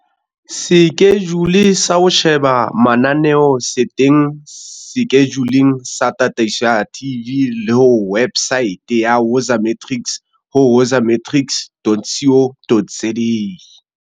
Sekejule sa ho sheba mananeo se teng sekejuleng sa tataiso ya TV le ho wepsaete ya Woza Matrics ho woza-matrics.co.za.